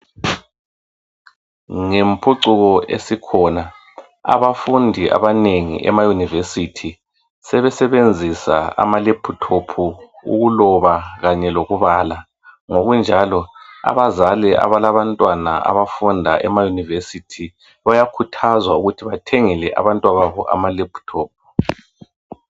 Ngempucuko esikhona , abafundi abanengi emayunivesithi sebesebenzisa amalephuthophu ukuloba kanye lokubala. Ngokunjalo abazali abalabantwana abafunda emayunivesithi bayakuthazwa ukuthi bathengele abantwababo amalephuthophu.